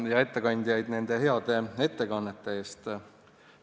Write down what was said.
– ja ettekandjaid nende heade ettekannete eest!